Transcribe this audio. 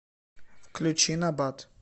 включи набат